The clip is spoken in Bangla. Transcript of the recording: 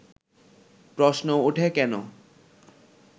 প্রশ্ন ওঠে কেন